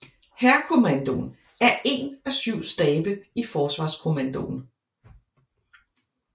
Hærkommandoen er én af syv stabe i Forsvarskommandoen